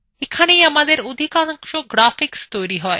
এখানেই আমাদের অধিকাংশ graphics তৈরি হয়